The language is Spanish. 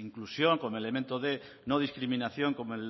inclusión como elemento de no discriminación como